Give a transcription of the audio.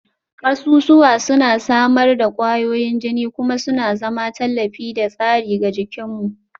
Kasusuwa suna samar da ƙwayoyin jini kuma suna zama tallafi da tsari ga jikinmu